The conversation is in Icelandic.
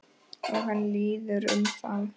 Og hann líður um þá.